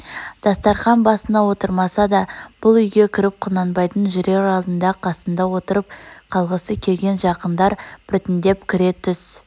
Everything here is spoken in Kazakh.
дастарқан басына отырмаса да бұл үйге кірп құнанбайдың жүрер алдында қасында отырып қалғысы келген жақындар біртндеп кіре түс